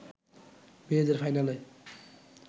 মেয়েদের ফাইনালে